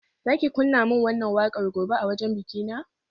Za ki kunna min wannan wakar gobe a wajen bikina?